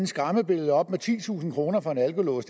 skræmmebillede op med titusind kroner for en alkolås